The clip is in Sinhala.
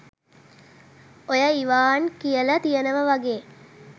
ඔය ඉවාන් කියල තියෙනව වගේ